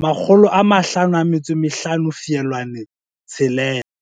55, 6.